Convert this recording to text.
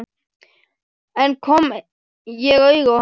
En kom ég auga á hann?